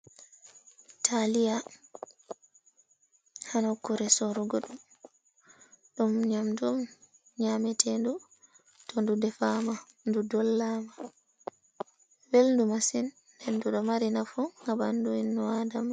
Taaliya ha nokkuure sorugo ɗum, ɗum nyamdu on nyaametendu to ndu defaama, ndu dollaama, welndu masin, nden ndu ɗo mari nafu ha ɓandu inn Aadama.